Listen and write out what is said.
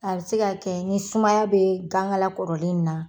A bɛ se ka kɛ ni sumaya bɛ gan kala kɔrɔlen in na.